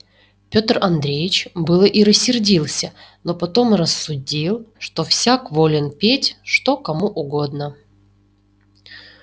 пётр андреич было и рассердился но потом рассудил что всяк волен петь что кому угодно